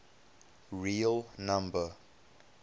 real number